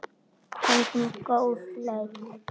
Fengum góð laun.